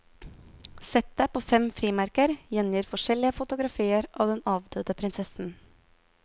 Settet på fem frimerker gjengir forskjellige fotografier av den avdøde prinsessen.